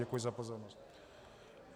Děkuji za pozornost.